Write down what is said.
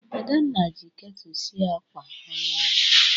Adanna ji ketu sie ákwà ụnyahụ.